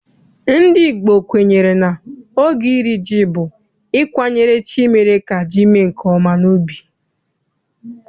NdỊ Igbo kwenyere na oge iri ji bụ ịkwanyere chi mere ka ji mee nke ọma n'ubi.